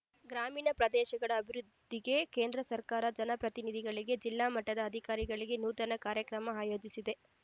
ಗ್ರಾಮೀಣ ಪ್ರದೇಶಗಳ ಅಭಿವೃದ್ಧಿಗೆ ಕೇಂದ್ರ ಸರ್ಕಾರ ಜನಪ್ರತಿನಿಧಿಗಳಿಗೆ ಜಿಲ್ಲಾ ಮಟ್ಟದ ಅಧಿಕಾರಿಗಳಿಗೆ ನೂತನ ಕಾರ್ಯಕ್ರಮ ಅಯೋಜಿಸಿದೆ